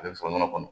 A bɛ sɔrɔ nɔnɔ kɔnɔ